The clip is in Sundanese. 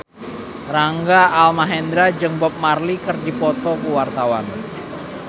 Rangga Almahendra jeung Bob Marley keur dipoto ku wartawan